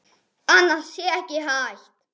Spurt er: Hvað er þetta?